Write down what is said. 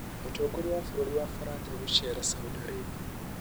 Mũtongoria wa bũrũri wa Faranja gũceera Saudi Arabia